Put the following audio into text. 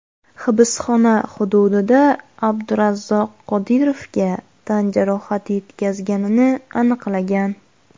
hibsxona hududida Abdurazzoq Qodirovga tan jarohati yetkazganini aniqlagan.